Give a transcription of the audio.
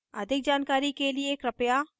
अधिक जानकारी कर लिए कृपया